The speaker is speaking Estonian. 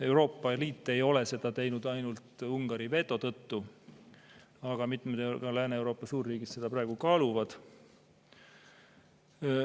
Euroopa Liit ei ole seda teinud ainult Ungari veto tõttu, aga mitmed Lääne-Euroopa suurriigid seda praegu kaaluvad.